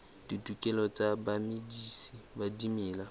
ditokelo tsa bamedisi ba dimela